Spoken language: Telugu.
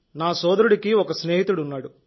నా సోదరుడికి ఒక స్నేహితుడున్నాడు